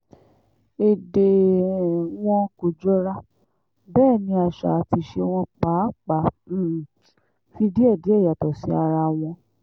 èdè um wọn kò jọra bẹ́ẹ̀ ni àṣà àti ìṣe wọn pàápàá um fi díẹ̀díẹ̀ yàtọ̀ sí ara wọn